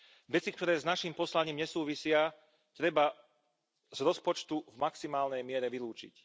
Veci, ktoré s naším poslaním nesúvisia, treba z rozpočtu v maximálnej miere vylúčiť.